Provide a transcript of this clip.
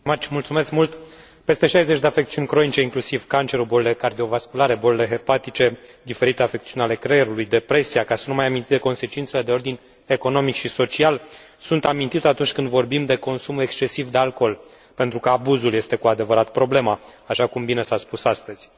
Doamnă președintă, peste 60 de afecțiuni cronice, inclusiv cancerul, bolile cardio vasculare, bolile hepatice, diferitele afecțiuni ale creierului, depresia, ca să nu mai amintim de consecințele de ordin economic și social, sunt amintite atunci când vorbim de consumul excesiv de alcool, pentru că abuzul este cu adevărat problema, așa cum bine s a spus astăzi.